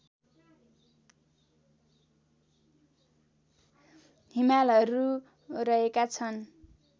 हिमालहरू रहेका छन्